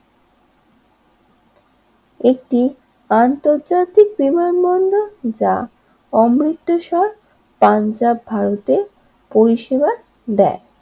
এই আন্তর্জাতিক বিমানবন্দর যা অনৈতেশর পাঞ্জাব ভারতের পরিষেবা দেয়।